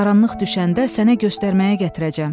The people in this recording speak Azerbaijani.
Qaranlıq düşəndə sənə göstərməyə gətirəcəm.